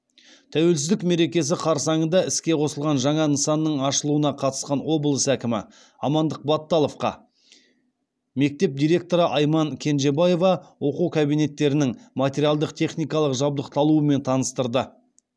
тәуелсіздік мерекесі қарсаңында іске қосылған жаңа нысанның ашылуына қатысқан облыс әкімі амандық баталовқа мектеп директоры айман кенженбаева оқу кабинеттерінің материалдық техникалық жабдықталуымен таныстырды